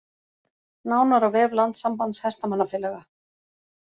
Nánar á vef Landssambands hestamannafélaga